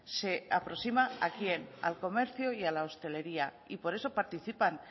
se aproxima a quién al comercio y a la hostelería y por eso participan